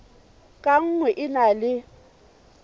ka nngwe e na le